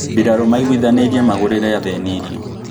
Mbirarū maiguithanīirie magũrĩre athĩni irio